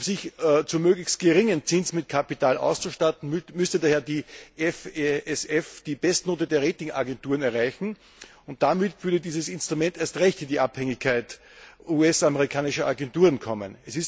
Um sich zu möglichst geringem Zins mit Kapital auszustatten, müsste daher das FSF die Bestnote der Rating Agenturen erreichen, und damit würde dieses Instrument erst recht in die Abhängigkeit US amerikanischer Agenturen kommen.